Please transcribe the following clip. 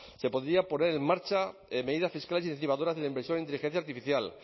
se podrían poner en marcha medidas fiscales incentivadoras de la inversión en inteligencia artificial